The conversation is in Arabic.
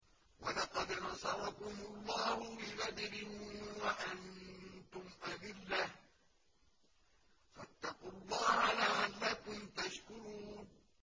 وَلَقَدْ نَصَرَكُمُ اللَّهُ بِبَدْرٍ وَأَنتُمْ أَذِلَّةٌ ۖ فَاتَّقُوا اللَّهَ لَعَلَّكُمْ تَشْكُرُونَ